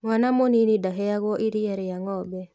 Mwana mũnini ndaheagwo iriia rĩa ng'ombe